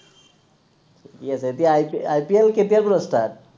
ঠিকে আছে, এতিয়া আই পি IPL কেতিয়াৰ পৰা start